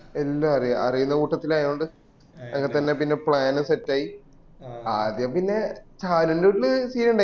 എല്ലൊം അറിയാ അറീന്ന കൂട്ടത്തിലായോണ്ട്അ ങ്ങനെതന്നെ പിന്നെ plan ഉം set ആയി ആദ്യം പിന്നെ ഷാരു ൻറെ വീട്ടില് scene ഉണ്ടായി